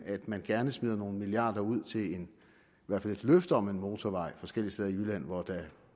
at man gerne smider nogle milliarder ud til i hvert fald et løfte om en motorvej forskellige steder i jylland hvor der